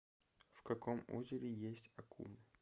в каком озере есть акулы